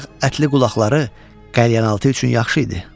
Ancaq ətli qulaqları qəlyanaltı üçün yaxşı idi.